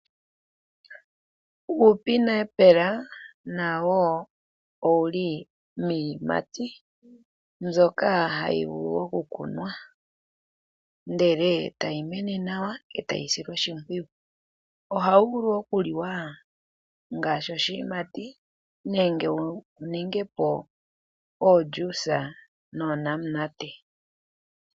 Uupineapple nawo wo owuli miiyimati mbyoka hayi vulu oku kunwa. Ndele tayi mene nawa etayi silwa oshimpwiyu. Ohawu vulu oku liwa ngaashi oshiyimati. Nenge wu ninge po oojuice noonamunate.